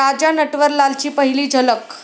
राजा नटवरलाल'ची पहिली झलक